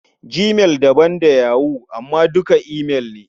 Gmail daban da yahoo amma duka imail ne.